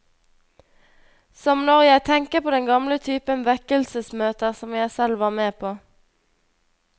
Som når jeg tenker på den gamle typen vekkelsesmøter som jeg selv var med på.